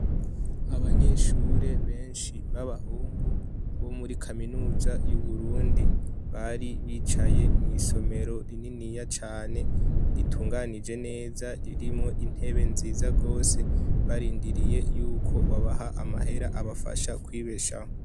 Abanyeshure benshi b'abahungu bo muri kaminuza y' Uburundi , bari bicaye mw' isomero rininiya cane , ritunganije neza ,ririmwo intebe nziza gose , barindiriye yukwo babaha amahera abafasha kwibeshaho .